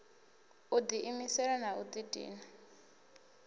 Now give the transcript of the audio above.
u diimisela na u didina